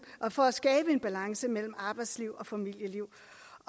for at skabe en balance mellem arbejdsliv og familieliv